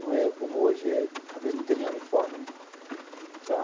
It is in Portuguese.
Não é como hoje é. Às vezes não tem nem uniforme, né?